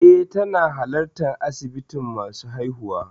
Eh, tana halartar asibitin masu haihuwa.